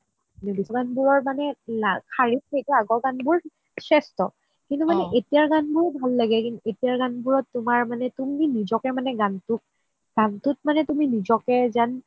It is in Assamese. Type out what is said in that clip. আগৰ গান বোৰ সেষ্ঠ কিন্তু মানে এতিয়া গান বোৰ ভাল লাগে এতিয়াৰ গান বোৰত তোমাৰ মানে তুমি নিজকে মানে গানটোত গানটোত মানে তুমি নিজকে যেন